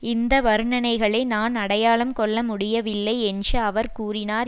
இந்த வர்ணனைகளை நான் அடையாளம் கொள்ளமுடியவில்லை என்று அவர் கூறினார்